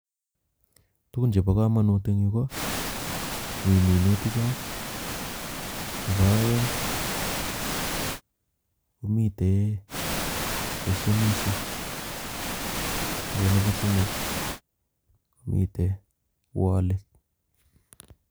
Tukun chebokomonut en yuu ko mii minuticho, nebo oeng komiten beshenishek ak ko nebo somok komiten woliit.